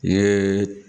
N ye